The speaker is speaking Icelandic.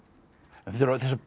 þessar